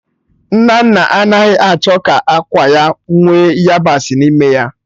Nnanna anaghị achọ ka ákwà ya nwee yabasị n'ime ya